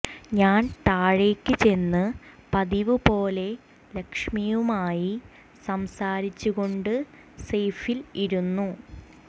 ഞാൻ താഴേക്ക് ചെന്ന് പതിവുപോലെ ലെക്ഷ്മിയുമായി സംസാരിച്ചു കൊണ്ട് സെയ്ഫ്യിൽ ഇരുന്നു